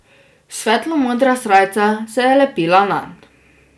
Svetlo modra srajca se je lepila nanj.